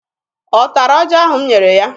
Ọ tara ọjị ahụ m nyere ya?